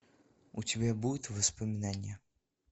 у тебя будет воспоминание